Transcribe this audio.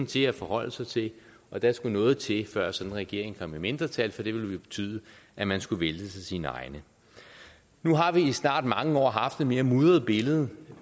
til at forholde sig til og der skulle noget til før sådan en regering kom i mindretal for det ville betyde at man skulle væltes af sine egne nu har vi i snart mange år haft et mere mudret billede